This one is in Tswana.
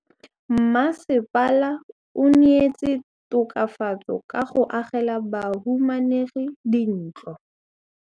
Mmasepala o neetse tokafatsô ka go agela bahumanegi dintlo.